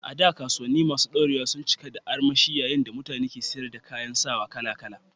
A da, kasuwanni masu ɗorewa sun cika da armashi yayin da mutane ke siyar da kayan sawa kala-kala.